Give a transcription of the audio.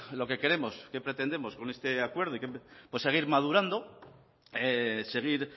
lo que queremos qué pretendemos con este acuerdo seguir madurando seguir